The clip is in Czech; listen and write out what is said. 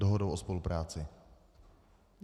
Dohodou o spolupráci.